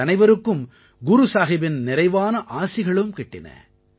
எங்கள் அனைவருக்கும் குரு சாஹிபின் நிறைவான ஆசிகளும் கிட்டின